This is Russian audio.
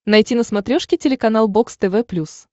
найти на смотрешке телеканал бокс тв плюс